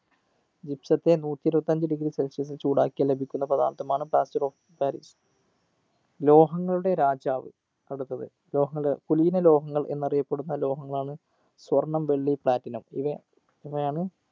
gypsum ത്തെ നൂറ്റി ഇരുപത്തി അഞ്ച് degree celsius ൽ ചൂടാക്കിയാൽ ലഭിക്കുന്ന പഥാർത്ഥമാണ് plaster of paris ലോഹങ്ങളുടെ രാജാവ് അടുത്തത് ലോഹങ്ങൾ കുലീന ലോഹങ്ങൾ എന്നറിയപ്പെടുന്ന ലോഹങ്ങളാണ് സ്വർണ്ണം വെള്ളി platinum ഇവ ഇവയാണ്